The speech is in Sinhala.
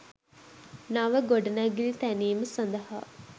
නව ගොඩනැගිලි තැනීම සඳහා